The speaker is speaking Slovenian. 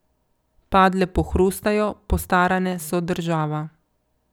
Padle pohrustajo, postarane so država.